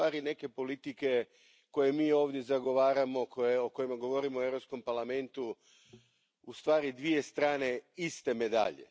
neke politike koje mi ovdje zagovaramo, o kojima govorimo u Europskom parlamentu, u stvari dvije strane iste medalje.